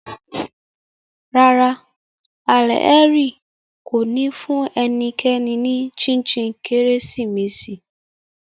Rárá, Alheri ko ni fun enikeni ni chin chin Keresimesi